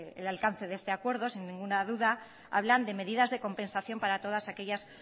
el alcance de este acuerdo sin ninguna duda hablan de medidas de compensación para todas aquellas